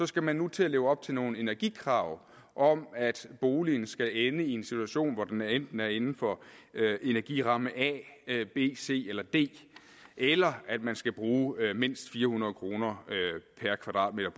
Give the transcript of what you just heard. skal man nu til at leve op til nogle energikrav om at boligen skal ende i en situation hvor den enten er inden for energiramme a b c eller d eller at man skal bruge mindst fire hundrede kroner per kvadratmeter